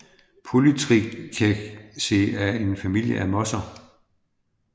Polytrichaceae er en familie af mosser